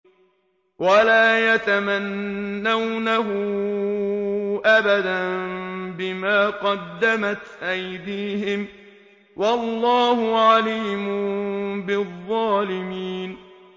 وَلَا يَتَمَنَّوْنَهُ أَبَدًا بِمَا قَدَّمَتْ أَيْدِيهِمْ ۚ وَاللَّهُ عَلِيمٌ بِالظَّالِمِينَ